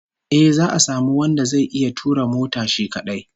Eh, za'a samu wanda zai iya tura mota shi kadai